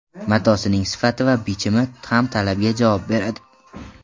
Matosining sifati va bichimi ham talabga javob beradi.